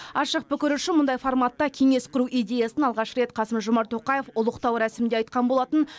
ашық пікір үшін мұндай форматта кеңес құру идеясын алғаш рет қасым жомарт тоқаев ұлықтау рәсімінде айтқан болатын